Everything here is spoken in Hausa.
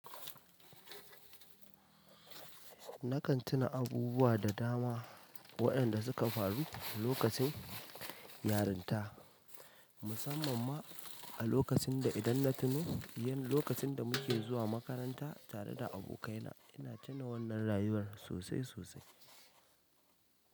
Nakan tuna abubuwa da dama waɗanda suka faru lokacin yarinta, musamman ma a lokacin da idan na tuno ƴan lokacin da muke zuwa makaranta tare da abokaina. Ina tuna wannan rayuwar sosai sosai.